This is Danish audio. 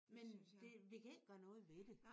Men det vi kan ikke gøre noget ved det